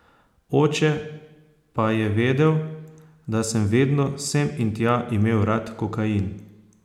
Oče pa je vedel, da sem vedno, sem in tja, imel rad kokain.